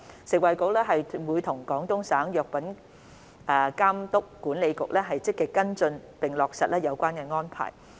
食物及衞生局會與廣東省藥品監督管理局積極跟進並落實有關安排。